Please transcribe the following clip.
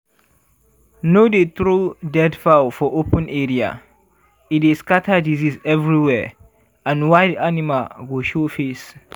no dey throw dead fowl for open area e dey scatter disease everywhere and wild animal go show face.